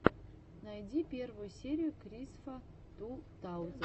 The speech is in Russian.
найди первую серию крисфа ту таузен